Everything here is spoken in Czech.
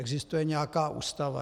Existuje nějaká Ústava.